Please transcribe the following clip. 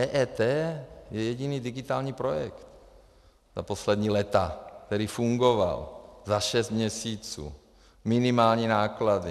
EET je jediný digitální projekt za poslední léta, který fungoval, za šest měsíců, minimální náklady.